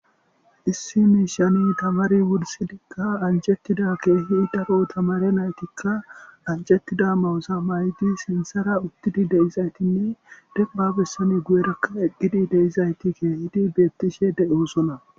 Issi miishani tamare wursidika anijetida keehi daro tamariya naytika anjetida ma7oza may7idi sinthara wutidi de7izaytinne denba bessan guyeraka eqqidi de7izati keehidi bettishe de7osona.